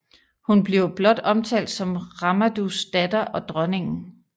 Hun bliver blot omtalt som Ramandus datter og dronningen